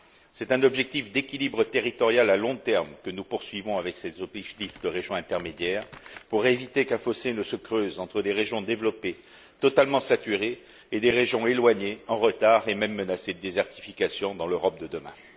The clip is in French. C'est un objectif d'équilibre territorial à long terme que nous poursuivons avec ces objectifs de régions intermédiaires, pour éviter qu'un fossé ne se creuse entre des régions développées totalement saturées et des régions éloignées, en retard, et même menacées de désertification dans l'Europe de demain.